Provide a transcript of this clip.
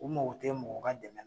U mɔgɔ te mɔgɔ ka dɛmɛ na